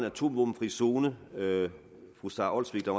atomvåbenfri zone fru sara olsvig var